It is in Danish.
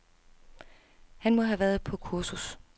Han må have været på kursus.